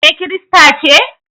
Ke Kirista ce?